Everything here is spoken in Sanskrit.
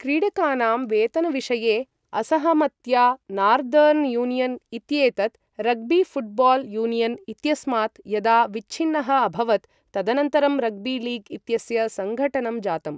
क्रीडकानां वेतनविषये असहमत्या नार्दर्न् यूनियन् इत्येतत् रग्बी ऴुट्बाल् यूनियन् इत्यस्मात् यदा विच्छिन्नः अभवत्, तदनन्तरं रग्बी लीग् इत्यस्य सङ्घटनं जातम्।